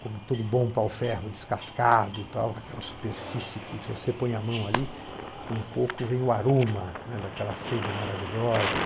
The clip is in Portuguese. como todo bom pau-ferro descascado e tal, aquela superfície que, se você põe a mão ali, um pouco vem o aroma, né daquela seiva maravilhosa.